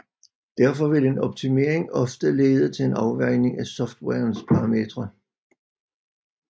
Derfor vil en optimering ofte lede til en afvejning af softwarens parametre